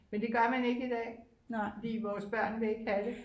Men det gør man ikke i dag fordi vores børn vil ikke have det